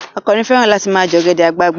Àkànnì fẹ́ràn láti ma jẹ́ ọ̀gẹ̀dẹ̀ àgbagbà